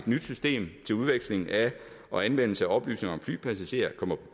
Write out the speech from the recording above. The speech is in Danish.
nyt system til udveksling af og anvendelse af oplysninger om flypassagerer kommer